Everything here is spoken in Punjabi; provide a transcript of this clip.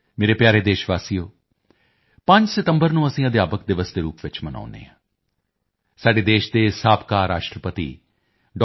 ਮੇਰੇ ਪਿਆਰੇ ਦੇਸ਼ ਵਾਸੀਓ 5 ਸਤੰਬਰ ਨੂੰ ਅਸੀਂ ਅਧਿਆਪਕ ਦਿਵਸ ਦੇ ਰੂਪ ਵਿੱਚ ਮਨਾਉਂਦੇ ਹਾਂ ਸਾਡੇ ਦੇਸ਼ ਦੇ ਸਾਬਕਾ ਰਾਸ਼ਟਰਪਤੀ ਡਾ